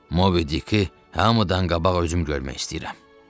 Mobidiki hamıdan qabaq özüm görmək istəyirəm.